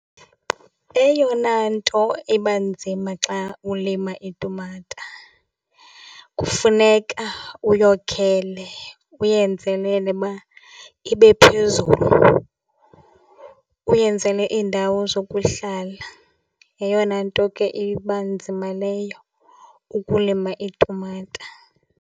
Eyona nto eba nzima xa ulima itumata kufuneka uyokhele uyenzelele uba ibe phezulu, uyenzele iindawo zokuhlala. Yeyona nto ke iba nzima leyo ukulima iitumata.